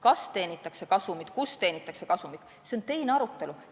Kas teenitakse kasumit, kuidas teenitakse kasumit – see on teine arutelu.